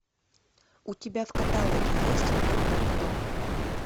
у тебя в каталоге есть доктор кто